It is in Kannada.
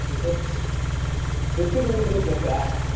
trip ಗೊಂದು group ಬೇಕಾ .